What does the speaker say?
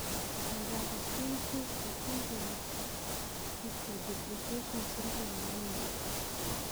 Miondop 15q13.3 microduplication syndrome neiimi porto